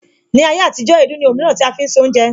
Ni ayé àtijó, èédú ní Òhùn mìíràn tí a fi ń se oúnjẹ